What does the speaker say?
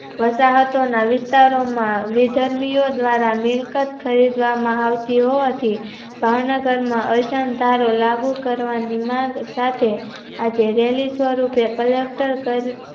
વાસ હતોના વિસ્તાર માં વીજન્યો દ્વારા મિલ્કત ખરીદવામાં આવતી હોવાથી ભાવનગરના અરસનાતારો લાગુ કરવાની માંગ સાથે આજે રેલી સ્વરૂપે collector કર